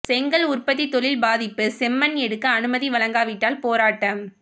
செங்கல் உற்பத்தி தொழில் பாதிப்பு செம்மண் எடுக்க அனுமதி வழங்காவிட்டால் போராட்டம்